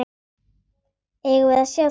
Eigum við að sjá það?